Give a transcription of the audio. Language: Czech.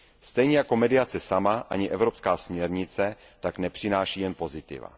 Stejně jako mediace sama ani evropská směrnice tak nepřináší jen pozitiva.